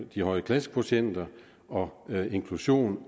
de høje klassekvotienter og inklusion